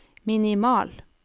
minimal